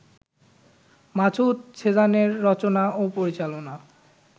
মাসুদ সেজানের রচনা ও পরিচালনায়